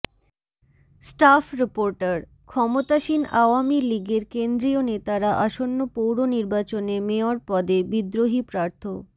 staff reporter ক্ষমতাসীন আওয়ামী লীগের কেন্দ্রীয় নেতারা আসন্ন পৌর নির্বাচনে মেয়র পদে বিদ্রোহী প্রার্থ